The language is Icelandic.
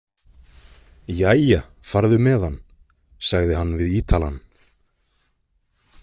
Jæja, farðu með hann, sagði hann við Ítalann.